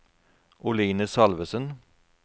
Oline Salvesen